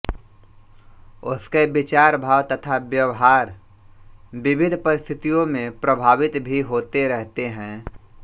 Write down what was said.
उसके विचार भाव तथा व्यवहार विविध परिस्थितियों में प्रभावित भी होते रहते हैं